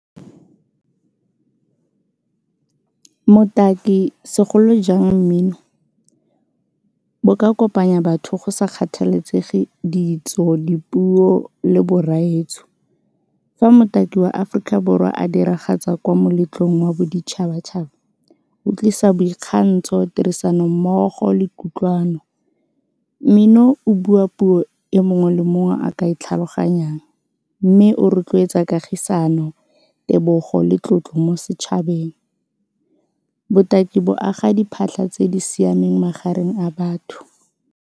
Motaki segolo jang mmino, bo ka kopanya batho go sa kgathaletsege ditso, dipuo le borraetsho. Fa motaki wa Aforika Borwa a diragatsa kwa moletlong wa boditšhabatšhaba o tlisa boikgantsho, tirisanommogo le kutlwano. Mmino o bua puo e mongwe le mo mongwe a ka e tlhaloganyang mme o rotloetsa kagisano, tebogo le tlotlo mo setšhabeng. Botaki bo aga diphatlha tse di siameng magareng a batho.